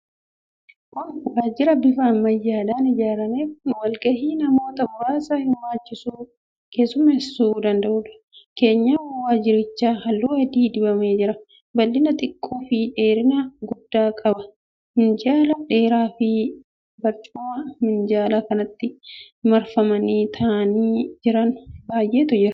Kun waajjira bifa ammayyaadhaan ijaarame kan walgahii namoota muraasa hirmaachisu keessummeessuu danda'uudha. Keenyan waajjirichaa halluu adii dibamee jira. Bal'ina xiqqaa fi dheerina guddaa qaba. Minjaala dheeraafi barcumawwan minjaala kanatti marfamanii kaa'amanii jiran baay'eetu jira.